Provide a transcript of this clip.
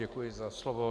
Děkuji za slovo.